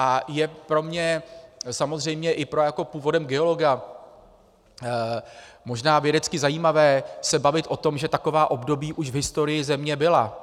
A je pro mě samozřejmě i jako pro původem geologa možná vědecky zajímavé se bavit o tom, že taková období už v historii Země byla.